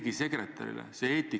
Mina tsiteerisin Urmas Reitelmanni.